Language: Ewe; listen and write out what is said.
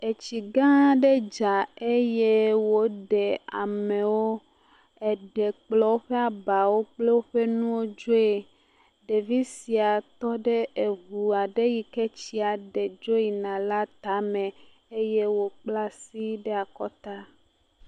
Etsi gã aɖe dza eye woɖe amewo, eɖe kplɔ woƒe abawo kple woƒe nuwo dzoe. Ɖevi sia tɔ ɖe ŋu aɖe yi ke tsia ɖe dzo yina la tame eye wokpla asi ɖe akɔta.